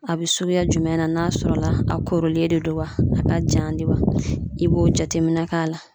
A be suguya jumɛn na n'a sɔrɔla a koronlen de don wa a k'a jan de wa i b'o jateminɛ k'a la